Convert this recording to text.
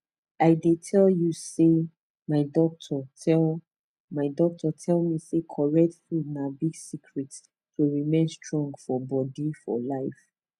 i dey tell you say my doctor tell my doctor tell me say correct food na big secret to remain strong for bodi for life